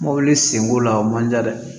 Mɔbili senko la o man ca dɛ